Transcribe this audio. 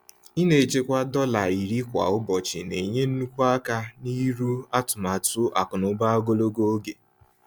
Ịna-echekwa dọla 10 kwa ụbọchị na-enye nnukwu aka n'iru atụmatụ akụnaụba ogologo oge.